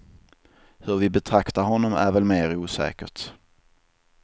Hur vi betraktar honom är väl mer osäkert.